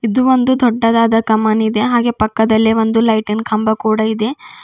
ಇದು ಒಂದು ದೊಡ್ಡದಾದ ಕಮಾನ್ ಇದೆ ಹಾಗೆ ಪಕ್ಕದಲ್ಲೇ ಒಂದು ಲೈಟಿನ್ ಕಂಬ ಕೂಡ ಇದೆ.